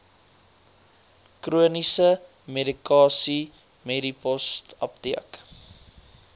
chroniese medikasie medipostapteek